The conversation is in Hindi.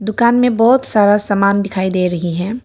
दुकान में बहोत सारा सामान दिखाई दे रही है।